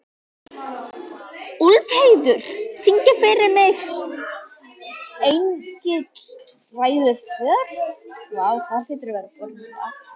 Úlfheiður, syngdu fyrir mig „Engill ræður för“.